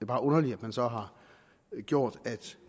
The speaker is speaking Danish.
bare underligt at man så har gjort